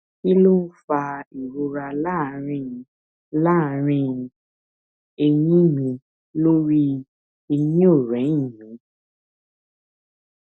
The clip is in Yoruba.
kí ló ń fa ìrora láàárín láàárín èyìn mi lórí èyìnòrẹyìn mi